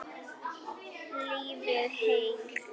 Lifið heil!